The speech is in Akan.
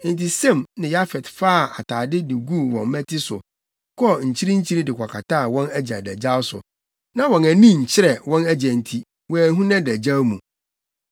Enti Sem ne Yafet faa atade de guu wɔn mmati so, kɔɔ nkyirinkyiri de kɔkataa wɔn agya adagyaw so. Na wɔn ani nkyerɛ wɔn agya nti, wɔanhu nʼadagyaw mu.